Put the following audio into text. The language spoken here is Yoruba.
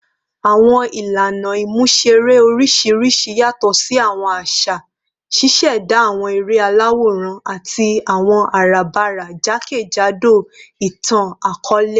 Awọn ilana imuṣere oriṣiriṣi yatọ si awọn aṣa, ṣiṣẹda awọn ere alaworan ati awọn arabara jakejado itan-akọọlẹ